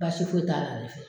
Basi foyi t'a la ale fɛ